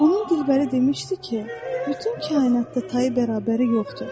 Onun gülbəri demişdi ki, bütün kainatda tayı bərabəri yoxdur.